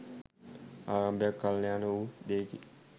ආරම්භයත් කළ්‍යාණ වූ දෙයකි